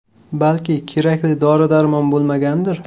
Balki, kerakli dori-darmon bo‘lmagandir.